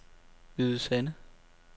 Hvide Sande